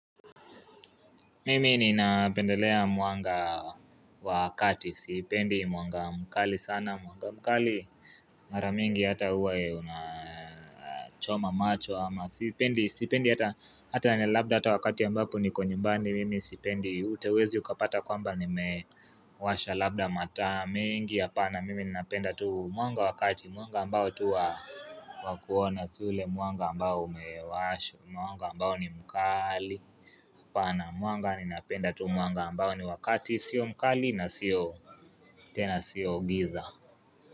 Mimi ninapendelea mwanga wa kati, sipendi mwanga mkali sana, mwanga mkali Mara mingi hata huwa ya unachoma macho ama siipendi, sipendi hata Hata ni labda hata wakati ambapo niko nyumbani, mimi sipendi Ute huwezi ukapata kwamba nimewasha labda mataa mengi Hapana mimi napenda tu mwanga wa kati, mwanga ambao tu wa kuona si ule mwanga ambao umewashwa Mwanga ambao ni mkali apana mwanga ninapenda tu mwanga ambao ni wa kati sio mkali na sio tena sio giza.